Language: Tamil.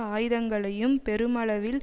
ஆயுதங்களையும் பெருமளவில்